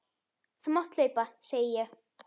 Þú mátt hlaupa, segi ég.